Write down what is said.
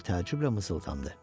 Qoca təəccüblə mızıldandı.